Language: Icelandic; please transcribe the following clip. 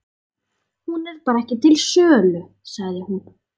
Hún er bara ekki til sölu, sagði hún.